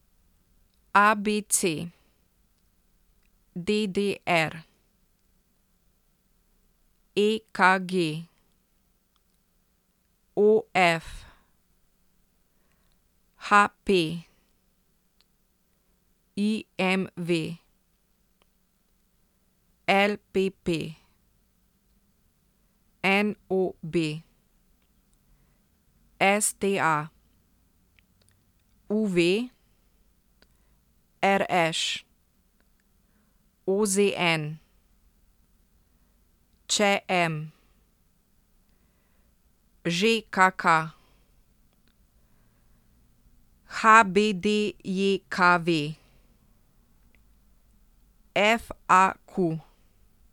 A B C; D D R; E K G; O F; H P; I M V; L P P; N O B; S T A; U V; R Š; O Z N; Č M; Ž K K; H B D J K V; F A Q.